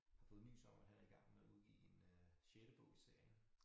Har fået nys om at han er i gang med at udgive en øh sjette bog i serien